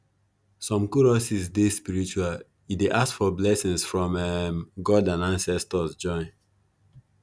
some choruses dey spiritual e dey ask for blessings from um god and ancestors join